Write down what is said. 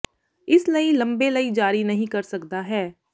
ਇਸ ਲਈ ਲੰਬੇ ਲਈ ਜਾਰੀ ਨਹੀ ਕਰ ਸਕਦਾ ਹੈ